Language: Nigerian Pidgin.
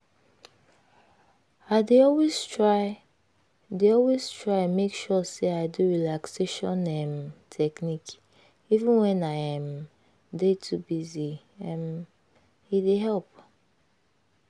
i dey always try dey always try make sure say i do relaxation um technique even when i um dey too busy um. e dey help.